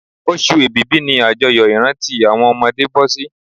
Oṣù èbìbí ni àjọyọ̀ ìrántí àwọn ọmọdé bọ́sí